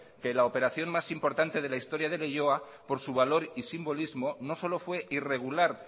que la operación más importante de la historia de leioa por su valor y simbolismo no solo fue irregular